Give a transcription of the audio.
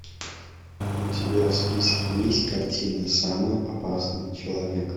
у тебя в списке есть картина самый опасный человек